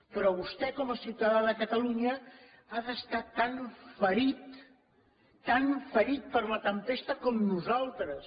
però vostè com a ciutadà de catalunya ha d’estar tan ferit tan ferit per la tempesta com nosaltres